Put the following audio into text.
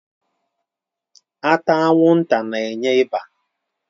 Ata anwụnta na-enye ịba.